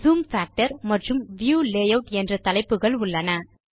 zoom factor மற்றும் view layout என்ற தலைப்புகள் உள்ளன